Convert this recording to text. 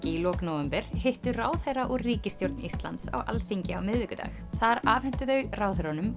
í lok nóvember hittu ráðherra úr ríkisstjórn Íslands á Alþingi á miðvikudag þar afhentu þau ráðherrunum